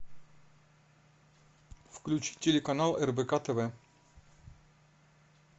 включи телеканал рбк тв